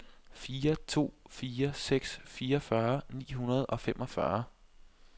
fire to fire seks fireogfyrre ni hundrede og femogfyrre